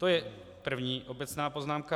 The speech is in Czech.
To je první obecná poznámka.